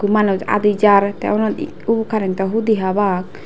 manus adi jar tey unot uw carento hudi obak.